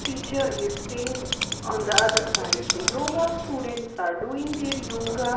Teacher is sitting on the other side the yoga students are doing their yoga.